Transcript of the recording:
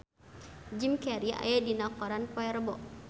Jim Carey aya dina koran poe Rebo